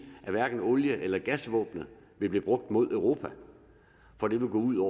at hverken olie eller gasvåbenet vil blive brugt mod europa for det vil gå ud